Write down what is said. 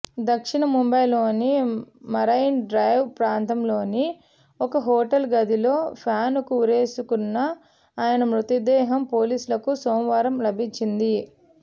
దక్షిణ ముంబయిలోని marine drive ప్రాంతంలోని ఒక హోటల్ గదిలో ఫ్యానుకు ఉరివేసుకున్న ఆయన మృతదేహం పోలీసులకు సోమవారం లభించింది